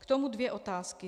K tomu dvě otázky.